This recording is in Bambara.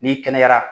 N'i kɛnɛyara